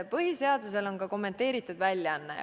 Põhiseadusel on ka kommenteeritud väljaanne.